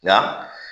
Nka